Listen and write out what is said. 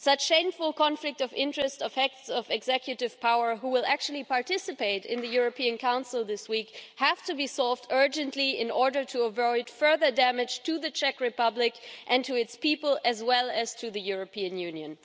Such shameful conflict of interests of executive powers, who will actually participate in the European Council this week, have to be solved urgently in order to avoid further damage to the Czech Republic and to its people, as well as to the European Union.